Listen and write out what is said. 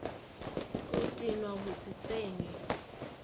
go tenwa go se tsenye